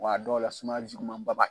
W'a dɔw la sumaya jugumanba b'a